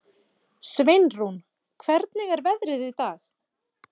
Sveinrún, hvernig er veðrið í dag?